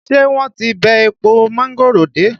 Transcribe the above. Ṣé wọ́n ti bẹ́ èpo mángòrò dé?